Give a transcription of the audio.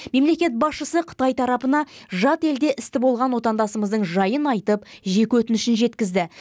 мемлекет басшысы қытай тарапына жат елде істі болған отандасымыздың жайын айтып жеке өтінішін жеткізді